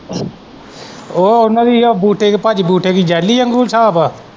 ਉਹ ਉਹਨਾਂ ਦੀ ਜਿੱਦਾ ਬੂਟੇ ਦੀ ਭਾਜੀ ਬੂਟੇ ਦੀ ਜੈਲੀ ਵਾਂਗੂ ਹਿਸਾਬ ਹੈ।